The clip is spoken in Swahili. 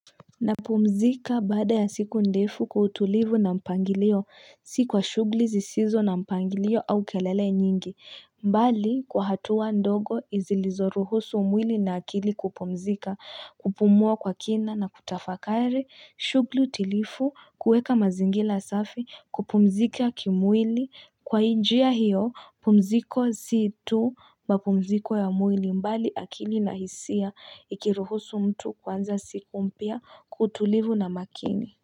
Napumzika baada ya siku ndefu kwa utulivu na mpangilio, si kwa shughuli sisizo na mpangilio au kelele nyingi bali kwa hatua ndogo zilizoruhusu umwili na akili kupumzika, kupumua kwa kina na kutafakari shughuli tilifu kueka mazingira asafi kupumzika kimwili kwa njia hiyo pumziko si tu mapumziko ya mwili bali akili na hisia ikiruhusu mtu kuanza siku mpya kwa utulivu na makini.